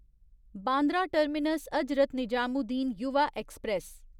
Bandra terminus Hazrat Nizamuddin Yuva express